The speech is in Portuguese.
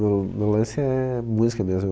mas meu meu lance é música mesmo.